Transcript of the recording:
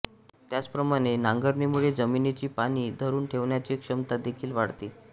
त्याचप्रमाणे नांगरणीमुळे जमिनीची पाणी धरून ठेवण्याची क्षमता देखील वाढते